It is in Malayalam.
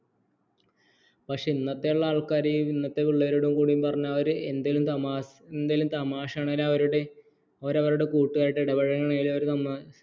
പക്ഷേ ഇന്നത്തേയുള്ള ആൾക്കാരും ഇന്നത്തെ പിള്ളേരോടും കൂടി പറഞ്ഞാൽ അവർ എന്തേലും തമാശയാണേലും അവർ അവരുടെ കൂട്ടുകാരോട് ഇടപഴകണേലും അവർ നന്നാ